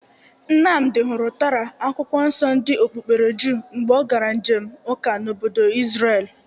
Nnamdị hụrụ Tora, akwụkwọ nso ndị okpukpere jụụ mgbe ọ gara njem ụka n'obodo Izrelu